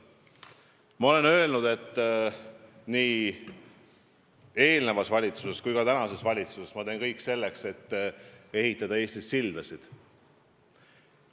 Ma olen öelnud, et ma tegin eelmises valitsuses ja teen ka praeguses valitsuses kõik selleks, et ehitada Eestis sildasid.